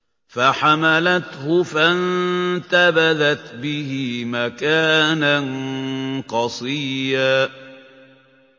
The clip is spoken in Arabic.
۞ فَحَمَلَتْهُ فَانتَبَذَتْ بِهِ مَكَانًا قَصِيًّا